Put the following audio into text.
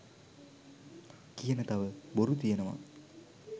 කියන තව බොරු තියනවා.